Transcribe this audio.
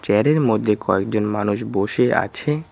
Chair -এর মধ্যে কয়েকজন মানুষ বসে আছে।